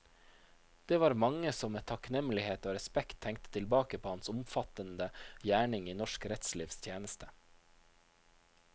Det var mange som med takknemlighet og respekt tenkte tilbake på hans omfattende gjerning i norsk rettslivs tjeneste.